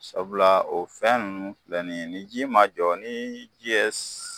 Sabula o fɛn ninnu filɛ nin ye ni ji ma jɔ ni ji ye